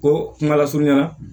Ko kuma lasurunya na